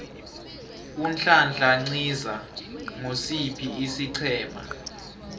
unhlanhla nciza ngosiphi isiqhema